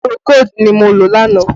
Pùròkódù ni mo lò lánàá